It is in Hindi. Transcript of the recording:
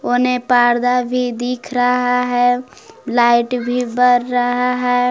कोने पार्दा भी दिख रहा है लाइट भी बर रहा है।